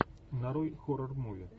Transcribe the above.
нарой хоррор муви